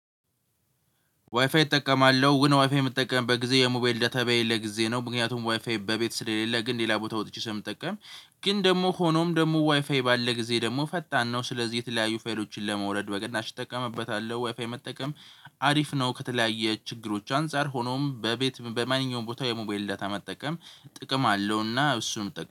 ዋይፋይ እጠቀማለሁ ግን ዋይፋይ የምጠቀበት በጊዜ የሞባይል ዳታ በሌለ ለጊዜ ነው ምክንያቱም ዋይፋይ በቤት ስለሌለ ግን ሌላ ቦታ ወጥቼ ስምጠቀም። ግን ደግሞ ሆኖም ደግሞ ዋይፋይ ባለ ጊዜ ደግሞ ፈጣን ነው። ስለዚህ የተለያዩ ፋይሎችን ለማውረድ በቅናሽ እጠቀምበታለሁ ዋይፋይ መጠቀም አሪፍ ነው። ከተለያየ ችግሮች አንፃር ሆኖም በቤት በማንኛውም ቦታ የሞባይል ዳታ መጠቀም ጥቅም አለውና እሱም